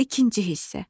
İkinci hissə.